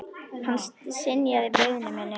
Hann synjaði beiðni minni.